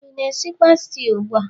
ị na-esikwa stew ugbu a?